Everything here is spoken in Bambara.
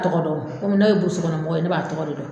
Ne tɔgɔ dɔn kɔmi ne ye mɔgɔ ye ne b'a tɔgɔ de don